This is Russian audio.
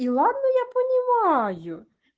и ладно я понимаю